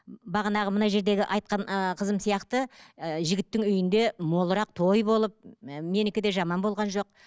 бағанағы мына жердегі айтқан ыыы қызым сияқты ыыы жігіттің үйінде молырақ той болып і менікі де жаман болған жоқ